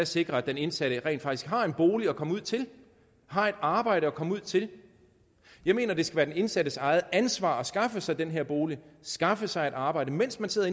sikrer at den indsatte rent faktisk har en bolig at komme ud til har et arbejde at komme ud til jeg mener det skal være den indsattes eget ansvar at skaffe sig den her bolig skaffe sig et arbejde mens man sidder